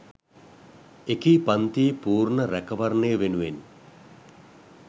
එකී පංතියේ පූර්ණ රැකවරණය වෙනුවෙන්